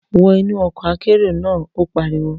Wọ inú ọkọ̀ akérò náà! Ó pariwo.